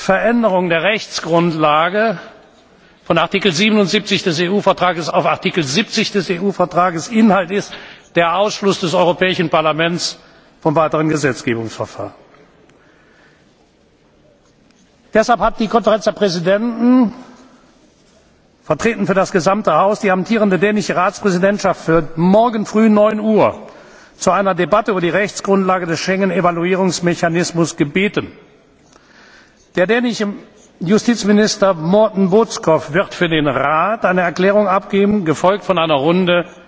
Veränderung der Rechtsgrundlage von Artikel 77 des EU Vertrags auf Artikel 70 des EU Vertrags. Inhalt ist der Ausschluss des Europäischen Parlaments von weiteren Gesetzgebungsverfahren. Deshalb hat die Konferenz der Präsidenten stellvertretend für das gesamte Haus die amtierende dänische Ratspräsidentschaft für morgen früh 9.00 Uhr zu einer Debatte über die Rechtsgrundlage des Schengen Evaluierungsmechanismus gebeten. Der dänische Justizminister Morten Bødskov wird für den Rat eine Erklärung abgeben, gefolgt von einer